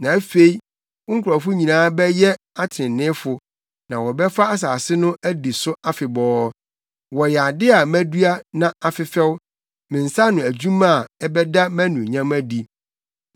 Na afei wo nkurɔfo nyinaa bɛyɛ atreneefo na wɔbɛfa asase no adi so afebɔɔ. Wɔyɛ ade a madua na afefɛw me nsa ano adwuma a ɛbɛda mʼanuonyam adi.